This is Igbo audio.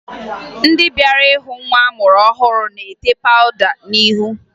Ndị bịara hụ nwa amụrụ ọhụrụ na-ete pawụda n'ihu